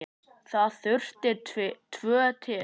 Það þurfti tvo til.